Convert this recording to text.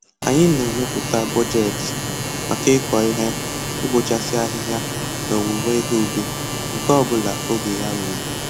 Anyị na-emepụta bọjetị maka ịkọ ihe, ịbọchasị ahịhịa na owuwe ihe ubi, nke ọbụla oge ya ruru